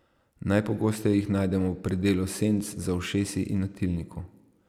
Najpogosteje jih najdemo v predelu senc, za ušesi in na tilniku.